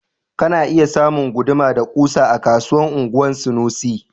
Kana iya ka samu guduma da kusa a kasuwan anguwan sanusi